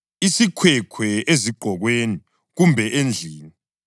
isikhwekhwe ezigqokweni kumbe endlini,